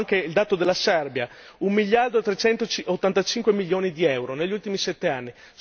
Guardo anche il dato della Serbia un miliardo trecentottantacinque milioni di euro negli ultimi sette anni.